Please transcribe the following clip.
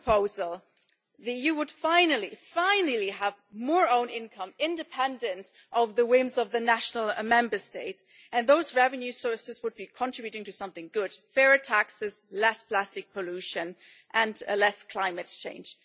that proposal, the EU would finally have more own income, independently of the whims of the Member States, and those revenue sources would be contributing to something good fairer taxes, less plastic pollution and less climate change.